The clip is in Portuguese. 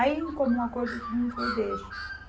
Aí, em comum acordo, todo mundo falou, deixa.